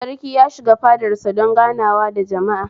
Sarki ya shiga fadar sa don ganawa da jama'a